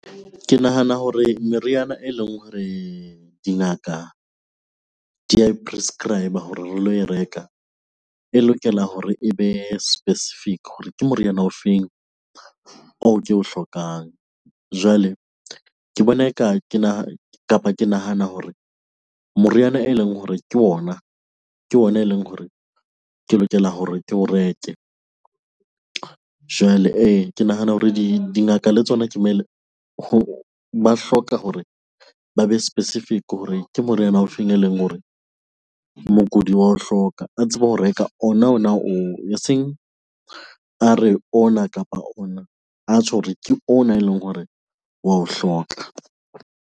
Ke nahana hore meriana eleng hore dingaka di ya e prescribe-er hore re lo e reka, e lokela hore e be specific hore ke moriana o feng oo ke o hlokang. Jwale ke bona eka kapa ke nahana hore moriana eleng hore ke ona, ke ona eleng hore ke lokela hore ke o reke. Jwale ke nahana hore dingaka le tsona ba hloka hore ba be specific hore ke moriana ofeng eleng hore mokudi wa o hloka a tsebe ho reka ona, ona oo. Eseng a re, ona kapa ona, atjho hore ke ona eleng hore wa o hloka.